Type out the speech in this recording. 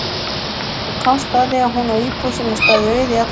Ég komst að því að hún á íbúð sem hefur staðið auð í allan vetur.